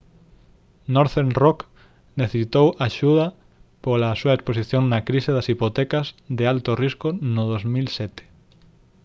northern rock necesitou axuda pola á súa exposición na crise das hipotecas de alto risco no 2007